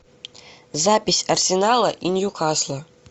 запись арсенала и ньюкасла